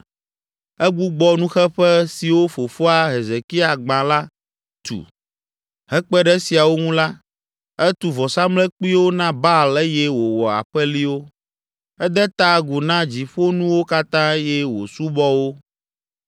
Egbugbɔ nuxeƒe siwo fofoa, Hezekia gbã la tu. Hekpe ɖe esiawo ŋu la, etu vɔsamlekpuiwo na Baal eye wòwɔ aƒeliwo. Ede ta agu na dziƒonuwo katã eye wòsubɔ wo.